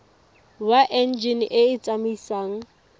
wa enjine e e tsamaisang